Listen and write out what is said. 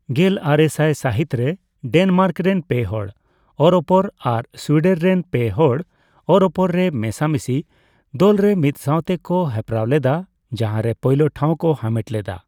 ᱜᱮᱞᱟᱨᱮᱥᱟᱭ ᱥᱟᱦᱤᱛ ᱨᱮ ᱰᱮᱱᱢᱟᱨᱠ ᱨᱮᱱ ᱯᱮ ᱦᱚᱲ ᱚᱨᱚᱯᱚᱨ ᱟᱨ ᱥᱩᱭᱰᱮᱱ ᱨᱮᱱ ᱯᱮ ᱦᱚᱲ ᱚᱨᱚᱯᱚᱨ ᱨᱮ ᱢᱮᱥᱟᱢᱤᱥᱤ ᱫᱚᱞᱨᱮ ᱢᱤᱫ ᱥᱟᱣᱛᱮ ᱠᱚ ᱦᱮᱯᱨᱟᱣ ᱞᱮᱫᱟ ᱡᱟᱦᱟᱸ ᱨᱮ ᱯᱳᱭᱞᱳ ᱴᱷᱟᱣ ᱠᱚ ᱦᱟᱢᱮᱴ ᱞᱮᱫᱟ ᱾